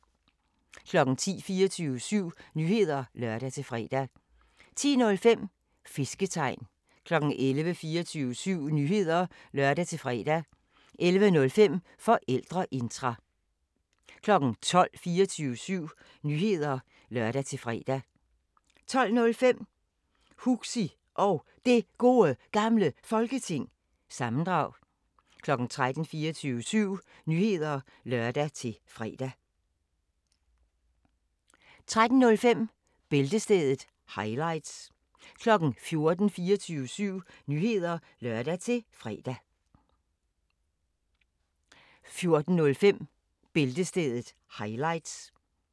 10:00: 24syv Nyheder (lør-fre) 10:05: Fisketegn 11:00: 24syv Nyheder (lør-fre) 11:05: Forældreintra 12:00: 24syv Nyheder (lør-fre) 12:05: Huxi Og Det Gode Gamle Folketing- sammendrag 13:00: 24syv Nyheder (lør-fre) 13:05: Bæltestedet – highlights 14:00: 24syv Nyheder (lør-fre) 14:05: Bæltestedet – highlights